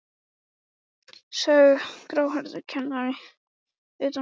sagði gráhærður kennari utan úr horni.